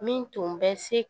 Min tun bɛ se